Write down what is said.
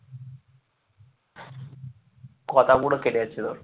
কথা পুরো কেটে যাচ্ছে তোর,